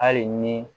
Hali ni